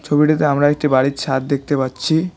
ছবিটিতে আমরা একটি বাড়ির ছাদ দেখতে পাচ্ছি।